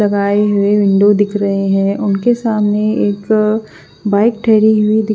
लगाई हुई वींडो दिख रहे है उसके सामने एक बाइक ढहरी हुई दिख--